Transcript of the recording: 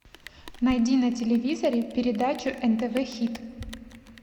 найди на телевизоре передачу нтв хит